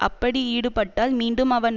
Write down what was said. அப்படி ஈடுபட்டால் மீண்டும் அவன்